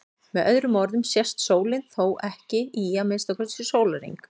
Með öðrum orðum sest sólin þá ekki í að minnsta kosti sólarhring.